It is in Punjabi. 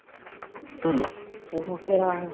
ਉਹ ਫਿਰ